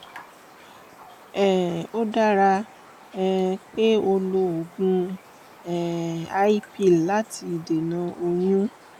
um ó dára um pé ó lo oògùn um i pill láti dènà oyún